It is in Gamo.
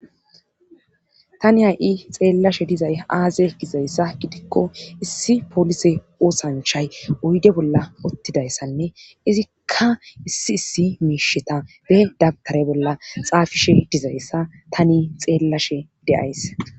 tani hay7i xeellashe dizay aaze gizayssa gidikko issi polise oosanchay oyde bolla ottidayssanne izikka issi issi miisheta be dabtare bolla xaafishe dizayssa tani xeellashe deyays